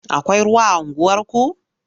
Akwai ruwa a unguwarku?